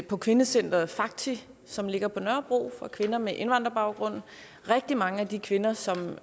på kvindecenteret fakti som ligger på nørrebro for kvinder med indvandrerbaggrund rigtig mange af de kvinder som